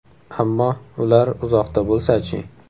Ammo ular uzoqda bo‘lsa-chi?